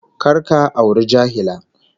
Kar ka auri jahila